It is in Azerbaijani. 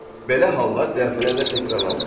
Belə hallar dəfələrlə təkrarlanıb.